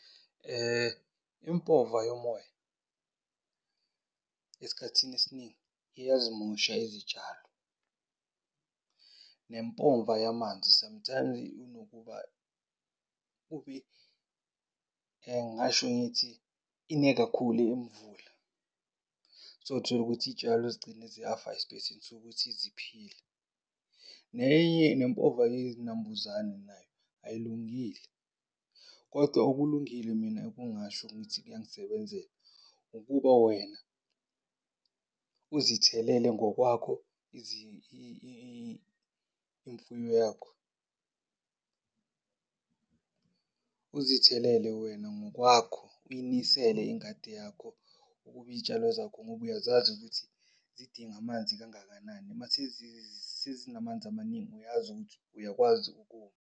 Impova yomoya esikhathini esiningi, iyazimosha izitshalo. Nempova yamanzi sometimes unokuba ngingasho ngithi ine kakhulu imvula. Sewuthola ukuthi iy'tshalo zigcine ziyafa esipeyisini sokuthi ziphile. Nenye, nempova yezinambuzane nayo ayilungile. Kodwa okulungile mina ekungasho ngithi kuyangisebenzela ukuba wena uzithelele ngokwakho imfuyo yakho. Uzithelele wena ngokwakho, uyinisele ingadi yakho ukuba iy'tshalo zakho, ngoba uyazazi ukuthi zidinga amanzi kangakanani. Mase sezinamanzi amaningi, uyazi ukuthi uyakwazi ukuma.